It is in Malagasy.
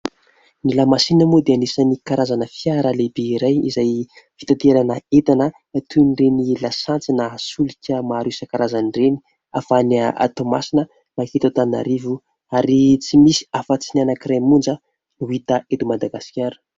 Ny lamasinina moa dia anisan'ny karazana fiara lehibe iray izay fitaterana entana toy ny ireny lasantsy na solika maro isankarazany ireny, avy any Toamasina manketo Antananarivo ary tsy misy afatsy ny anakiray monja no hita eto Madagasikara.